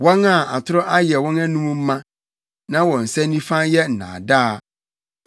wɔn a atoro ayɛ wɔn anom ma, na wɔn nsa nifa yɛ nnaadaa.